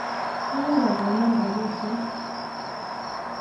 Akoi akonin rapisyek.